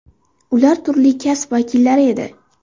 Ular turli kasb vakillari edi.